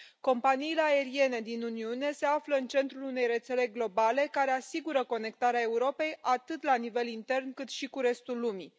Companiile aeriene din Uniune se află în centrul unei rețele globale, care asigură conectarea Europei atât la nivel intern, cât și cu restul lumii.